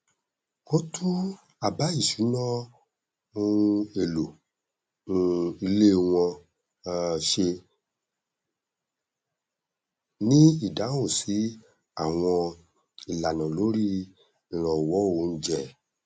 wọn tún àbá ìṣúná ohun èlò um ilé wọn um ṣe ní ìdáhùn sí àwọn ìlànà lórí ìrànwọ oúnjẹ